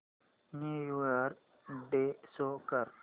new year day show कर